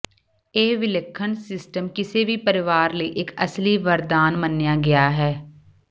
ਇਹ ਵਿਲੱਖਣ ਸਿਸਟਮ ਕਿਸੇ ਵੀ ਪਰਿਵਾਰ ਲਈ ਇੱਕ ਅਸਲੀ ਵਰਦਾਨ ਮੰਨਿਆ ਗਿਆ ਹੈ